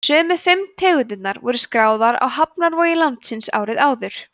sömu fimm tegundirnar voru skráðar á hafnarvogir landsins árið áður